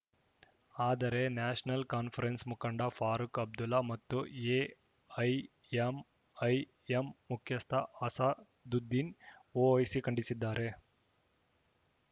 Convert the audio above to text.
ಆದರೆ National Conference ಮುಖಂಡ ಫಾರೂಕ್‌ ಅಬ್ದುಲ್ಲಾ ಮತ್ತು ಎಐಎಂಐಎಂ ಮುಖ್ಯಸ್ಥ ಅಸಾ ದುದ್ದೀನ್‌ ಒವೈಸಿ ಖಂಡಿಸಿದ್ದಾರೆ